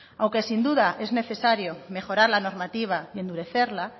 aunque sin duda es necesario mejorar la normativa y endurecerla